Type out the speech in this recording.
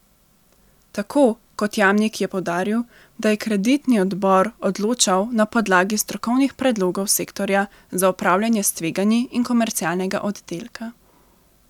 Tako kot Jamnik je poudaril, da je kreditni odbor odločal na podlagi strokovnih predlogov sektorja za upravljanje s tveganji in komercialnega oddelka.